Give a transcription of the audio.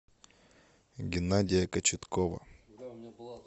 геннадия кочеткова